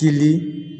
Kili